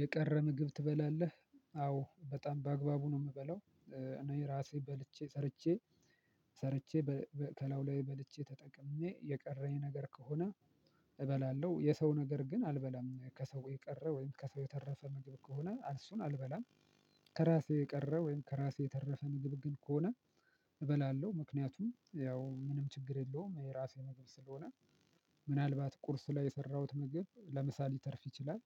የቀረ ምግብ ትበላለህ? አዎ በጣም በአግባቡ ነው የምበለው። እኔ ራሴ በልቼ ሰርቼ ሰርቼ በ በ ከላዩ ላይ በልቼ ተጠቅሜ የቀረኝ ነገር ከሆነ እበላለሁ፣ የሰው ነገር ግን አልበላም፣ ከሰው የቀረ ወይም ከሰው የተረፈ ምግብ ከሆነ እሱን አልበላም። ከራሴ የቀረ ወይም ከራሴ የተረፈ ምግብ ግን ከሆነ እበላለሁ። ምክንያቱም ያው ምንም ችግር የለውም የራሴ ምግብ ስለሆነ ምናልባት ቁርስ ላይ የሰራሁት ምግብ ለምሳ ሊተርፍ ይችላል፤